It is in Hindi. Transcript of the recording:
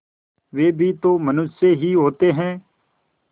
वे भी तो मनुष्य ही होते हैं